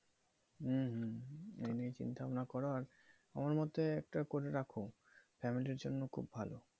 হুম হুম এই নিয়ে চিন্তাভাবনা করো। আর আমার মতে একটা করে রাখো, family এর জন্য খুব ভালো